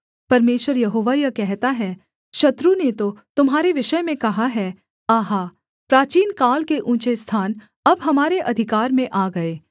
परमेश्वर यहोवा यह कहता है शत्रु ने तो तुम्हारे विषय में कहा है आहा प्राचीनकाल के ऊँचे स्थान अब हमारे अधिकार में आ गए